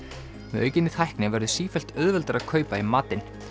með aukinni tækni verður sífellt auðveldara að kaupa í matinn